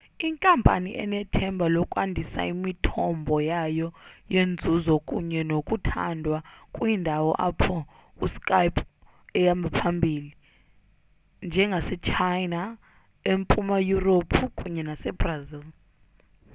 inkampani inethemba lokwandisa imithombo yayo yenzuzo kunye nokuthandwa kwiindawo apho uskype ehamba phambili njengasechina empuma yurophu kunye nasebrazil